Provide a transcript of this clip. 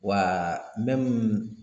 Wa